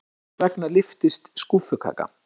Hvers vegna lyftist skúffukaka?